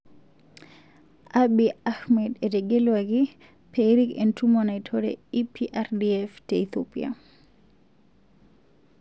Abiy Ahmed etegelwaki perik entumo naitore EPRDF te Ethiopia.